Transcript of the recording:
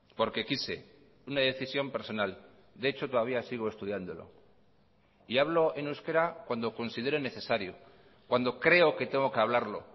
porque quise una decisión personal de hecho todavía sigo estudiándolo y hablo en euskera cuando considero necesario cuando creo que tengo que hablarlo